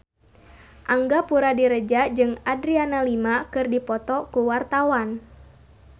Angga Puradiredja jeung Adriana Lima keur dipoto ku wartawan